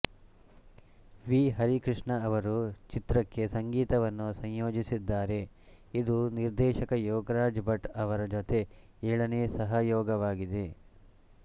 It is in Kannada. ವಿ ಹರಿಕೃಷ್ಣ ಅವರು ಚಿತ್ರಕ್ಕೆ ಸಂಗೀತವನ್ನು ಸಂಯೋಜಿಸಿದ್ದಾರೆ ಇದು ನಿರ್ದೇಶಕ ಯೋಗರಾಜ್ ಭಟ್ ಅವರ ಜತೆ ಏಳನೇ ಸಹಯೋಗವಾಗಿದೆ